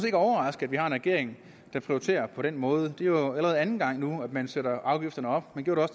ikke overraske at vi har en regering der prioriterer på den måde det er jo allerede anden gang at man sætter afgifterne op man gjorde